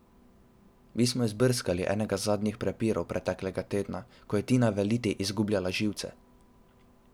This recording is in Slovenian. Mi smo izbrskali enega zadnjih prepirov preteklega tedna, ko je Tina v eliti izgubljala živce.